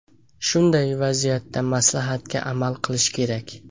Shunday vaziyatda maslahatga amal qilish kerak.